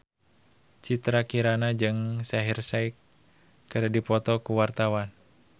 Citra Kirana jeung Shaheer Sheikh keur dipoto ku wartawan